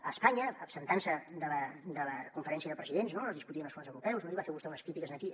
a espanya absentant se de la conferència de presidents no on es discutien els fons europeus no ahir va fer vostè unes crítiques aquí